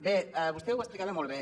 bé vostè ho explicava molt bé